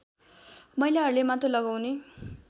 महिलाहरूले मात्र लगाउने